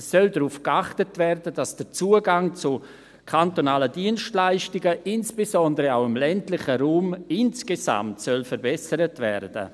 Es soll darauf geachtet werden, dass der Zugang zu kantonalen Dienstleistungen, insbesondere auch im ländlichen Raum, insgesamt verbessert wird.